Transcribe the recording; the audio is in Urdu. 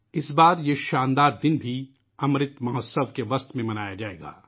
اس بار یہ شاندار دن '' امرت مہوتسو '' کے دوران منایا جائے گا